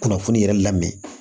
Kunnafoni yɛrɛ lamɛn